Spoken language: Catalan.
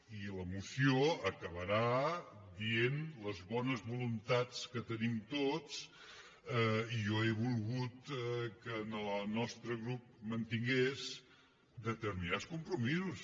i la moció acabarà dient les bones voluntats que tenim tots i jo he volgut que el nostre grup mantingués determinats compromisos